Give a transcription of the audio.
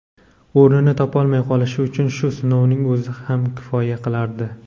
o‘rnini topolmay qolishi uchun shu sinovning o‘zi ham kifoya qilardi.